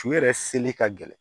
Su yɛrɛ seli ka gɛlɛn